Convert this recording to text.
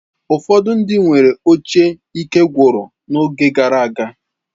Ụfọdụ ndị nwere oche ikegwụrụ n'oge gara aga.